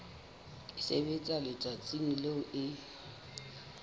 e sebetswa letsatsing leo e